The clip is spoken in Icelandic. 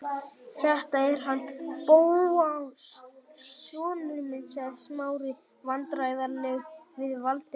Þetta er hann Bóas sonur minn- sagði Smári vandræðalegur við Valdimar.